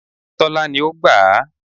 Tólá ni ó gbà á